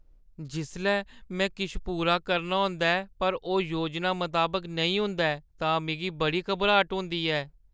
जिसलै में किश पूरा करना होंदा ऐ पर ओह् योजना मताबक नेईं होंदा ऐ तां मिगी बड़ी घबराट होंदी ऐ।